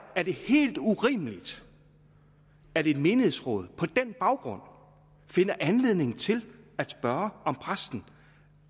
er det helt urimeligt at et menighedsråd på den baggrund finder anledning til at spørge om præsten